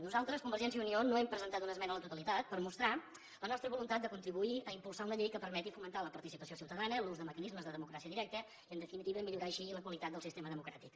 nosaltres convergència i unió no hem presentat una esmena a la totalitat per mostrar la nostra voluntat de contribuir a impulsar una llei que permeti fomentar la participació ciutadana l’ús de mecanismes de democràcia directa i en definitiva millorar així la qualitat del sistema democràtic